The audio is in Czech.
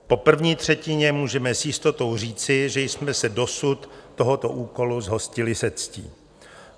Po první třetině můžeme s jistotou říci, že jsme se dosud tohoto úkolu zhostili se ctí.